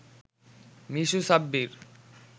Mishu Sabbir